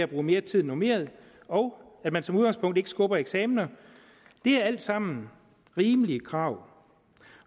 bruge mere tid end normeret og at man som udgangspunkt ikke skubber eksaminer det er alt sammen rimelige krav og